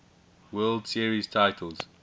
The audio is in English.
world series titles